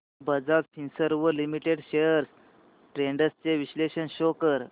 Bajaj Finserv limited shares trends चे विश्लेषण show कर